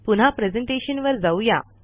पुन्हा प्रेझेंटेशनवर जाऊ या